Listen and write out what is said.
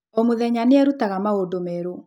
O mũthenya nĩ eerutaga maũndũ merũ.